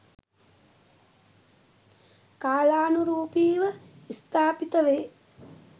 කාලානුරූපීව ස්ථාපිත වේ